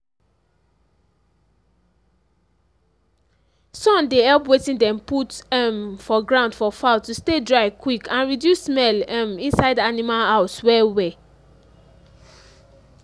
sun dey help wetin dem put um for ground for fowl to stay dry quick and reduce smell um inside animal house well well